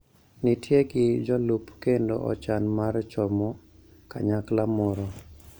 Nitie gi jolup kendo ochan mar chomo kanyakla moro